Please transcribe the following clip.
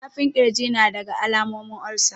Zafin kirji nadaga alamomin olsa